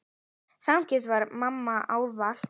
Þannig var mamma ávallt.